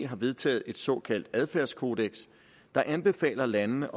har vedtaget et såkaldt adfærdskodeks der anbefaler landene